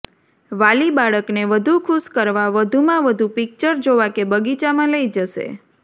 વાલી બાળકને વધુ ખુશ કરવા વધુમાં વધુ પિક્ચર જોવા કે બગીચામાં લઇ જશે